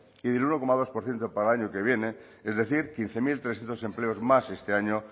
y del uno coma dos por ciento para el año que viene es decir quince mil trescientos empleos más este año